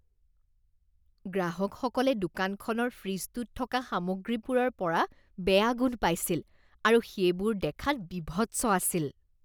গ্ৰাহকসকলে দোকানখনৰ ফ্ৰিজটোত থকা সামগ্ৰীবোৰৰ পৰা বেয়া গোন্ধ পাইছিল আৰু সেইবোৰ দেখাত বীভৎস আছিল।